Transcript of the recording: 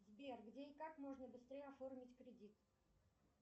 сбер где и как можно быстрее оформить кредит